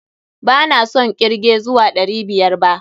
ba na son ƙirge zuwa ɗari biyar ba.